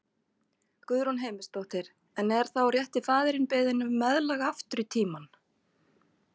Guðrún Heimisdóttir: En er þá rétti faðirinn beðinn um meðlag aftur í tímann?